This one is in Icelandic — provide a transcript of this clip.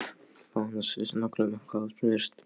Bað hana að segja sér nákvæmlega um hvað málið snerist.